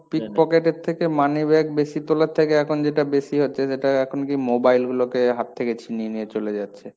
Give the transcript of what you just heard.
pickpocket এর থেকে moneybag বেশি তোলার থেকে এখন যেটা বেশি হচ্ছে সেটা, এখন কি mobile গুলোকে হাত থেকে ছিনিয়ে নিয়ে চলে যাচ্ছে।